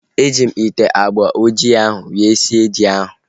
E ji m ite agba ojii ahu wee sie ji ahu